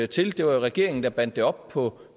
til det var jo regeringen der bandt det op på